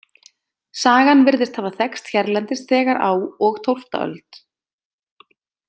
Sagan virðist hafa þekkst hérlendis þegar á og tólfta öld.